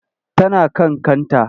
Tana kan kanta.